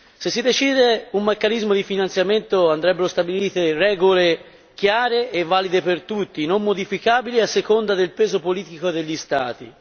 Se si decide un meccanismo di finanziamento, andrebbero stabilite regole chiare e valide per tutti, non modificabili a seconda del peso politico degli Stati.